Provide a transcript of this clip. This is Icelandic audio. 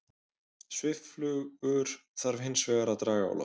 Svifflugur þarf hins vegar að draga á loft.